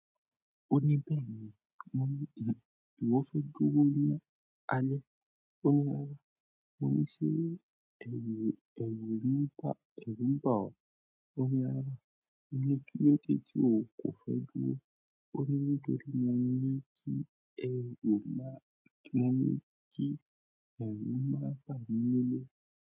O ní bẹ́ẹ̀ ni. Mo ní ì, ìwọ fẹ́ dúró ní alẹ́? O ní rárá. Mo ní ṣé ẹ̀rù, ẹ̀rù ńi n ba, ẹ̀rù ń ba ọ? O ní rárá. Mo ní kí ló dé tí o kò fẹ́ dúró. O ni nítorí pe mo ni ki e o maa, mo ni ki oun ye ma pàdé nile.